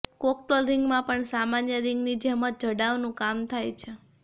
cocktail રિંગમાં પણ સામાન્ય રિંગની જેમ જ જડાઉનું કામ થાય છે